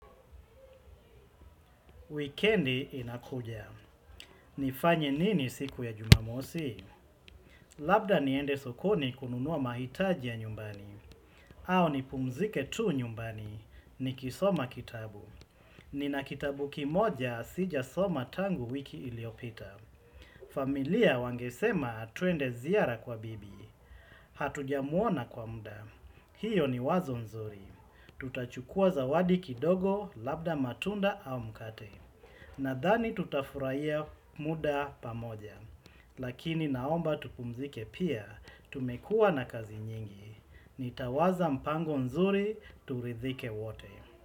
Wikendi inakuja. Nifanye nini siku ya jumamosi? Labda niende sokoni kununua mahitaji ya nyumbani. Au nipumzike tu nyumbani. Nikisoma kitabu. Nina kitabu kimoja sijasoma tangu wiki iliyopita. Familia wangesema twende ziara kwa bibi. Hatujamuona kwa muda. Hiyo ni wazo nzuri. Tutachukua zawadi kidogo labda matunda au mkate. Nadhani tutafurahia muda pamoja, lakini naomba tupumzike pia, tumekuwa na kazi nyingi, nitawaza mpango nzuri turidhike wote.